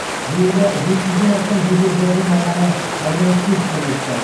жуырда жеті жүзден астам жедел жәрдем маманы арнайы курстан өтті